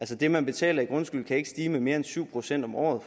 det man betaler i grundskyld kan ikke stige med mere end syv procent om året